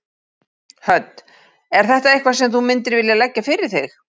Hödd: Er þetta eitthvað sem þú myndir vilja leggja fyrir þig?